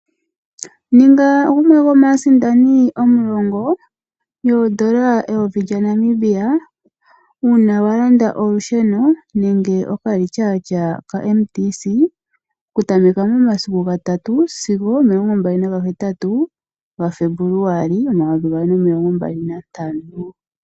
Ninga gumwe gomaasindani omulongo yoodola eyovi lyaNamibia uuna wa landa olusheno nenge okalityaatya kaMTC kutameka momasiku gatatu sigo omilongo mbali na gahetatu gaFebuluali omayovi gaali nomilongo mbali nantano.